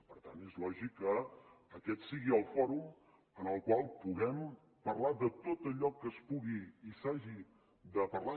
per tant és lògic que aquest sigui el fòrum en el qual puguem parlar de tot allò que es pugui i s’hagi de parlar